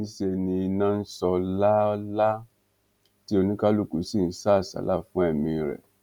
níṣẹ ni iná ń sọ lálaalà tí oníkálukú sì ń sá àsálà fún ẹmí rẹ